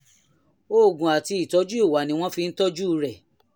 oògùn àti ìtọ́jú ìwà ni wọ́n fi ń tọ́jú rẹ̀